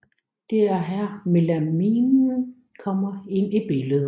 Det er her melaminen kommer ind i billedet